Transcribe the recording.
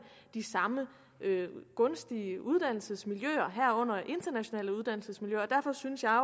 de samme gunstige uddannelsesmiljøer herunder internationale uddannelsesmiljøer derfor synes jeg